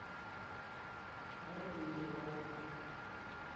лобеева